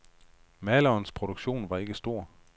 Malerens produktion var ikke stor.